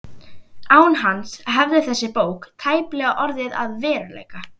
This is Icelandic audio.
Án hans hefði þessi bók tæplega orðið að veruleika.